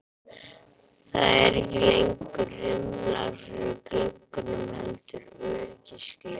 Það eru ekki lengur rimlar fyrir gluggunum heldur öryggisgler.